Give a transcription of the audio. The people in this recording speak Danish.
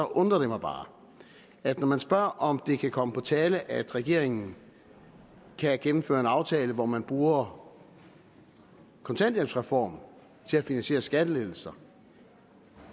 undrer det mig bare at når man spørger om det kan komme på tale at regeringen kan gennemføre en aftale hvor man bruger kontanthjælpsreformen til at finansiere skattelettelser